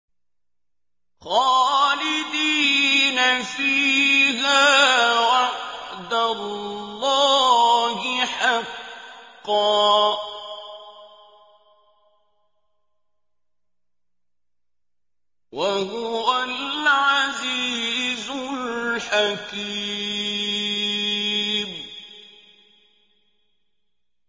خَالِدِينَ فِيهَا ۖ وَعْدَ اللَّهِ حَقًّا ۚ وَهُوَ الْعَزِيزُ الْحَكِيمُ